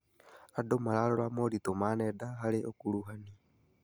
Andũ mararora moritũ ma nenda harĩ ũkuruhanu.